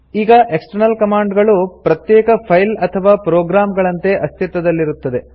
ಈಗ external command ಗಳು ಪ್ರತ್ಯೇಕ ಫೈಲ್ ಅಥವಾ ಪ್ರೊಗ್ರಾಮ್ ಗಳಂತೆ ಅಸ್ತಿತ್ವದಲ್ಲಿರುತ್ತದೆ